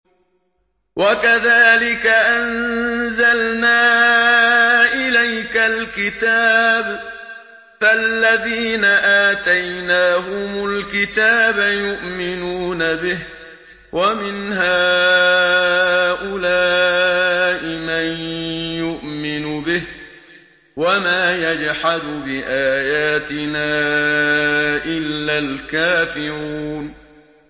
وَكَذَٰلِكَ أَنزَلْنَا إِلَيْكَ الْكِتَابَ ۚ فَالَّذِينَ آتَيْنَاهُمُ الْكِتَابَ يُؤْمِنُونَ بِهِ ۖ وَمِنْ هَٰؤُلَاءِ مَن يُؤْمِنُ بِهِ ۚ وَمَا يَجْحَدُ بِآيَاتِنَا إِلَّا الْكَافِرُونَ